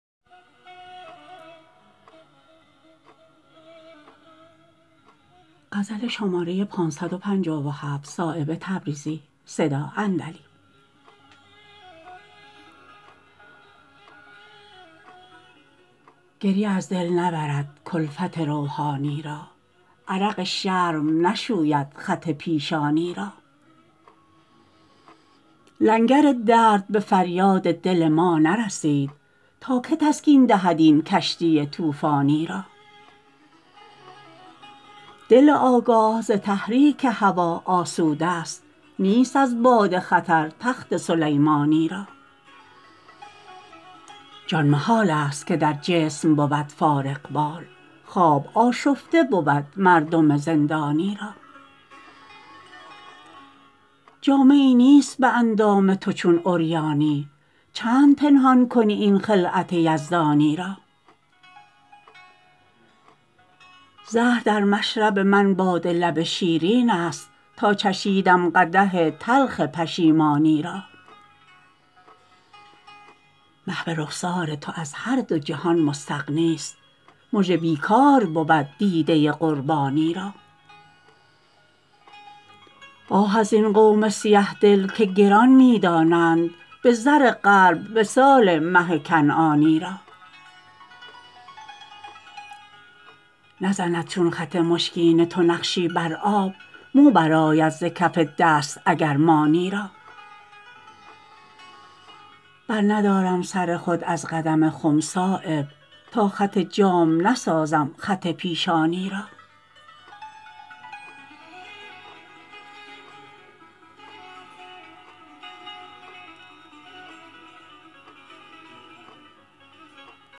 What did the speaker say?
گریه از دل نبرد کلفت روحانی را عرق شرم نشوید خط پیشانی را لنگر درد به فریاد دل ما نرسید تا که تسکین دهد این کشتی طوفانی را دل آگاه ز تحریک هوا آسوده است نیست از باد خطر تخت سلیمانی را جان محال است که در جسم بود فارغبال خواب آشفته بود مردم زندانی را جامه ای نیست به اندام تو چون عریانی چند پنهان کنی این خلعت یزدانی را زهر در مشرب من باده لب شیرین است تا چشیدم قدح تلخ پشیمانی را محو رخسار تو از هر دو جهان مستغنی است مژه بیکار بود دیده قربانی را آه ازین قوم سیه دل که گران می دانند به زر قلب وصال مه کنعانی را نزند چون خط مشکین تو نقشی بر آب مو برآید ز کف دست اگر مانی را برندارم سر خود از قدم خم صایب تا خط جام نسازم خط پیشانی را